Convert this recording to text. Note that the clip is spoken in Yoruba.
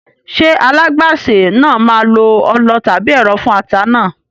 Ṣé alágbàsè náà máa lo ọlọ tàbí ẹ̀rọ fún ata náà?